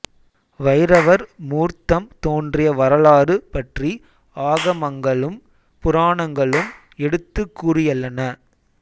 வைரவர் மூர்த்தம் தோன்றிய வரலாறு பற்றி ஆகமங்களும் புராணங்களும் எடுத்துக் கூறியள்ளன